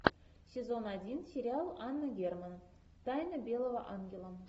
сезон один сериал анна герман тайна белого ангела